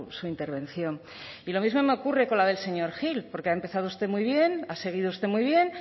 su intervención y lo mismo me ocurre con la del señor gil porque ha empezado usted muy bien ha seguido usted muy bien